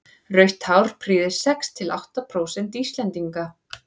rautt hár prýðir sex til átta prósent íslendinga